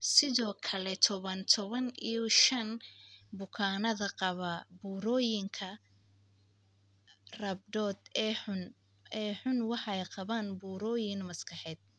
Sidoo kale, toban, toban iyo shan% bukaanada qaba burooyinka rhabdoid ee xun waxay qabaan burooyin maskaxeed.